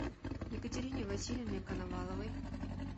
екатерине васильевне коноваловой